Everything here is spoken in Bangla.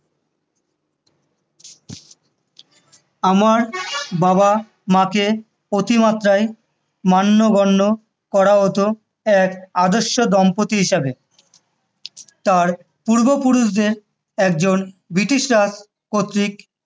আমার বাবা মাকে অতিমাত্রায় মান্যগন্য করা হত এক আদর্শ দম্পতি হিসেবে, তাঁর পূর্বপুরুষদের একজনকে ব্রিটিশরাজ কর্তৃক